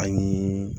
An ye